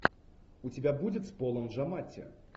у тебя будет с полом джаматти